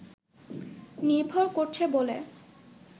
নির্ভর করছে বলে